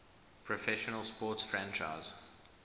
professional sports franchise